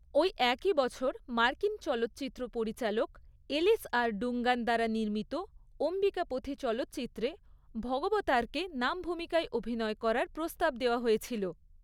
ওই একই বছর মার্কিন চলচ্চিত্র পরিচালক এলিস আর ডুঙ্গান দ্বারা নির্মিত 'অম্বিকাপথী' চলচ্চিত্রে ভগবতারকে নাম ভূমিকায় অভিনয় করার প্রস্তাব দেওয়া হয়েছিল।